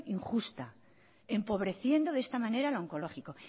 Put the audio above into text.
injusta empobreciendo de esta manera al oncológico